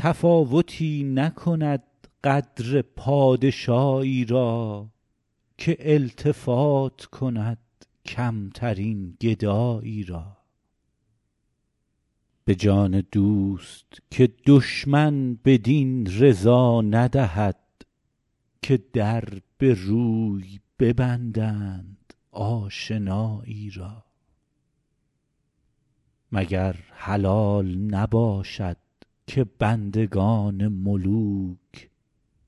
تفاوتی نکند قدر پادشایی را که التفات کند کمترین گدایی را به جان دوست که دشمن بدین رضا ندهد که در به روی ببندند آشنایی را مگر حلال نباشد که بندگان ملوک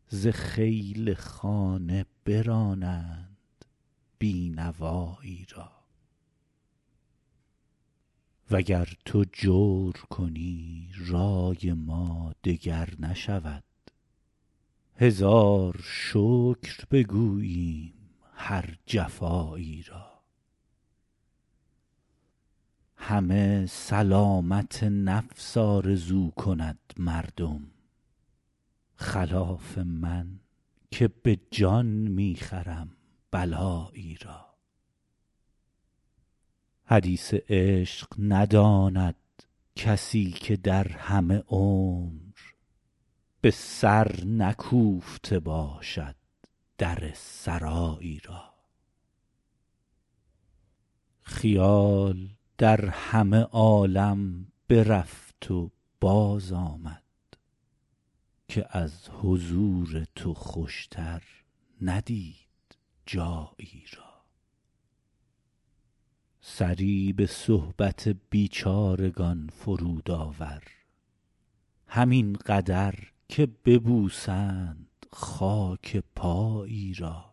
ز خیل خانه برانند بی نوایی را و گر تو جور کنی رای ما دگر نشود هزار شکر بگوییم هر جفایی را همه سلامت نفس آرزو کند مردم خلاف من که به جان می خرم بلایی را حدیث عشق نداند کسی که در همه عمر به سر نکوفته باشد در سرایی را خیال در همه عالم برفت و بازآمد که از حضور تو خوشتر ندید جایی را سری به صحبت بیچارگان فرود آور همین قدر که ببوسند خاک پایی را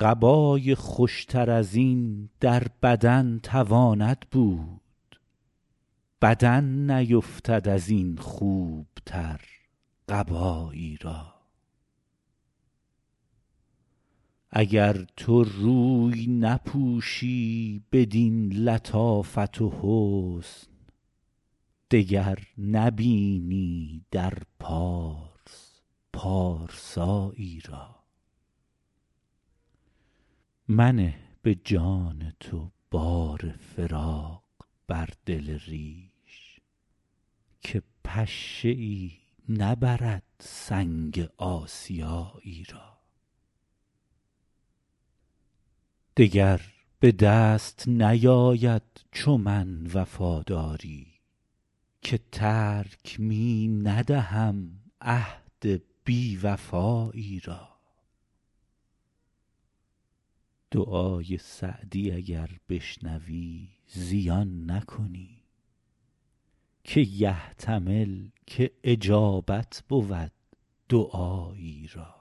قبای خوشتر از این در بدن تواند بود بدن نیفتد از این خوبتر قبایی را اگر تو روی نپوشی بدین لطافت و حسن دگر نبینی در پارس پارسایی را منه به جان تو بار فراق بر دل ریش که پشه ای نبرد سنگ آسیایی را دگر به دست نیاید چو من وفاداری که ترک می ندهم عهد بی وفایی را دعای سعدی اگر بشنوی زیان نکنی که یحتمل که اجابت بود دعایی را